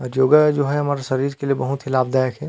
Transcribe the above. अजोगा जो हैं हमारे शरीर के लिए बहुत ही लाभदायक हैं।